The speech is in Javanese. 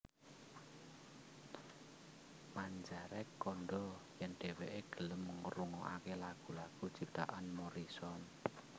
Manzarek kandha yen dheweke gelem ngrungokake lagu lagu ciptaan Morrison